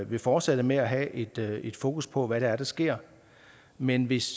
vil fortsætte med at have et et fokus på hvad det er der sker men hvis